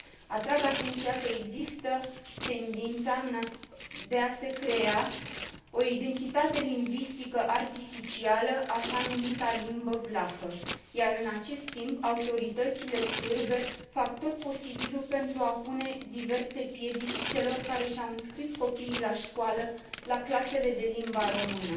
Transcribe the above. Atrag atenția că există tendința de a se crea o identitate lingvistică artificială, așa numita limbă vlahă, iar, în acest timp, autoritățile sârbe fac tot posibilul pentru a pune diverse piedici celor care și au înscris copiii la școală, la clasele de limba română.